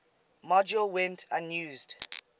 module went unused